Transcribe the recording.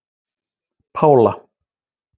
Pála